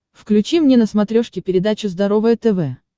включи мне на смотрешке передачу здоровое тв